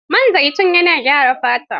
Man zaitun na gyara fata.